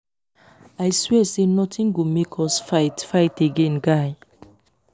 i swear say nothing go make us fight fight again guy